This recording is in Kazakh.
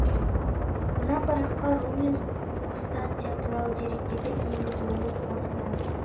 мына параққа рум мен қустантия туралы деректерді енгізуіміз осыдан